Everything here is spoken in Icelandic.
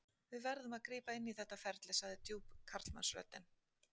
Við verðum að grípa inn í þetta ferli, sagði djúp karlmannsröddin.